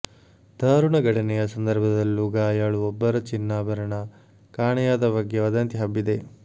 ಧಾರುಣ ಘಟನೆಯ ಸಂಧರ್ಭದಲ್ಲೂ ಗಾಯಳು ಒಬ್ಬರ ಚಿನ್ನ ಭರಣ ಕಾಣೆಯಾದ ಬಗ್ಗೆ ವದಂತಿ ಹಬ್ಬಿದೆ